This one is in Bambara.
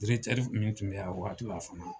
min tun be yan , a waati la fana.